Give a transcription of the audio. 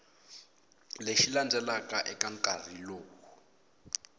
lexi landzelaka eka nkarhi lowu